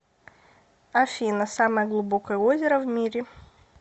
афина самое глубокое озеро в мире